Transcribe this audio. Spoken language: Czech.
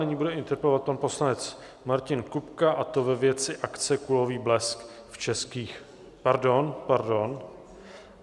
Nyní bude interpelovat pan poslanec Martin Kupka, a to ve věci akce Kulový blesk v českých... Pardon, pardon.